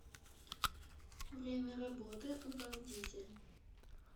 время работы урал дизель